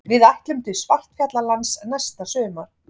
Við ætlum til Svartfjallalands næsta sumar.